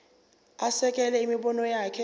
asekele imibono yakhe